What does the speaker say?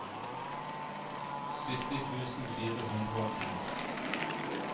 sytti tusen fire hundre og en